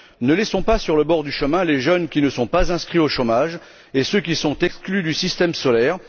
Ne laissons pas sur le bord du chemin les jeunes qui ne sont pas inscrits au chômage et ceux qui sont exclus du système scolaire.